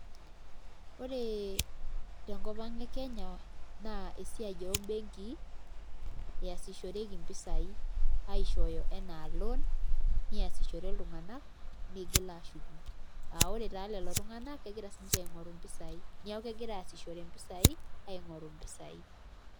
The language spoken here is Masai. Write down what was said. Ore tenkop ang' e Kenya naa esiai embenki eesishoreki mpisaai aishooyo ena loan niasishore iltunganak niigil aashuku aa ore taa lelo tung'anak kegira siinche aing'oru mpisaai neeku kegira aasishore mpisaai aing'oru mpisaai.